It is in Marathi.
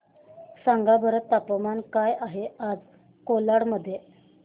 सांगा बरं तापमान काय आहे आज कोलाड मध्ये